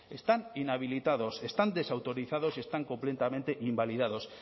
están inhabilitados están desautorizados y están completamente invalidados